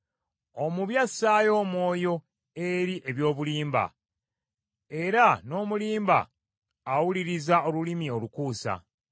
Omubi assaayo omwoyo eri eby’obulimba, era n’omulimba awuliriza olulimi olukuusa.